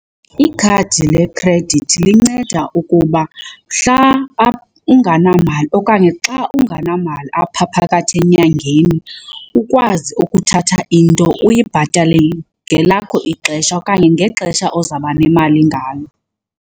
Ikhadi lekhredithi linceda ukuba mhla ungenamali okanye xa ungenamali apha phakathi enyangeni ukwazi ukuthatha into uyibhatale ngelakho ixesha okanye ngexesha ozawuba nemali ngalo.